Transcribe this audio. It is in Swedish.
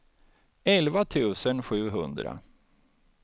elva tusen sjuhundra